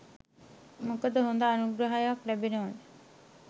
මොකද හොඳ අනුග්‍රාහකයෙක් ලැබෙනවා